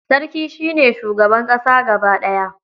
Sarki shi ne shugaban ƙasa gaba ɗaya.